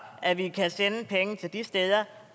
at vi kan sende penge til de steder